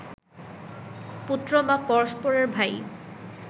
পুত্র বা পরস্পরের ভাই